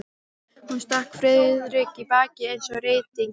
Hún stakk Friðrik í bakið eins og rýtingur.